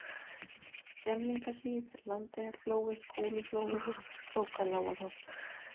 Gemlingahlíð, Landeyjaflói, Kúluflói, Krókalágarholt